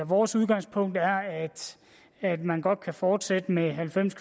vores udgangspunkt er at at man godt kan fortsætte med halvfems